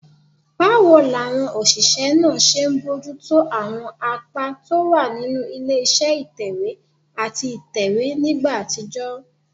Báwo làwọn òṣìṣẹ́ náà ṣe ń bójú tó àwọn apá tó wà nínú ilé iṣẹ́ ìtẹ̀wé àti ìtẹ̀wé nígbà àtijọ́?